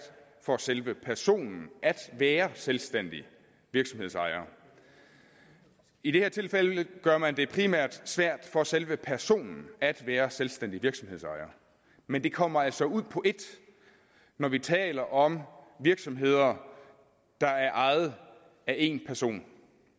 for selve personen at være selvstændig virksomhedsejer i det her tilfælde gør man det primært svært for selve personen at være selvstændig virksomhedsejer men det kommer altså ud på et når vi taler om virksomheder der er ejet af en person